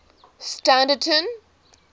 standerton